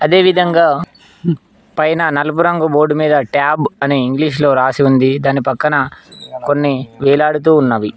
అదేవిధంగా పైన నలుపు రంగు బోర్డు మీద ట్యాబ్ అని ఇంగ్లీషులో రాసి ఉంది దాని పక్కన కొన్ని వేలాడుతూ ఉన్నవి.